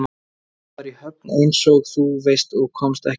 Ég var í Höfn einsog þú veist og komst ekki heim.